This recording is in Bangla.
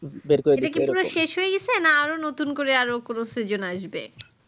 বের করে দিচ্ছে পুরো এটা কি পুরো শেষ হয়ে গিয়েছে না আরো নতুন করে আরো কোনো season আসবে